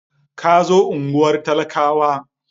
Ka zo unguwar talakawa.